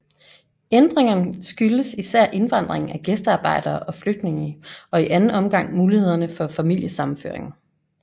Ændringen skyldes især indvandring af gæstearbejdere og flygtninge og i anden omgang mulighederne for familiesammenføring